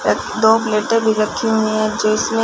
दो प्लेटें भी रखी हुई हैं जिसमें--